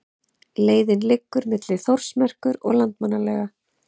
Leiðin liggur milli Þórsmerkur og Landmannalauga.